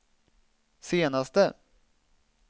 senaste